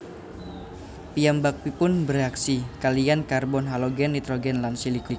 Piyambakipun bèreaksi kaliyan karbon halogen nitrogen lan silikon